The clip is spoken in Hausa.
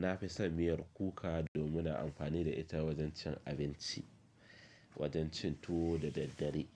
Na fi son miyar kuka domin na amfani da ita wajen cin abinci, wajen cin tuwo da daddare.